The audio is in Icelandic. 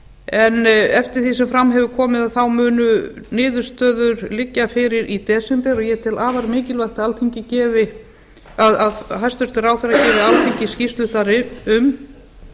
en eftir því sem fram hefur komið munu niðurstöður liggja fyrir í desember og ég tel afar mikilvægt að hæstvirtur ráðherra gefi alþingi skýrslu þar um